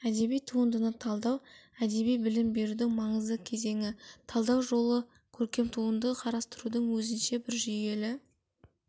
әдеби туындыны талдау әдеби білім берудің маңызды кезеңі талдау жолы көркем туындыны қарастырудың өзінше бір жүйелі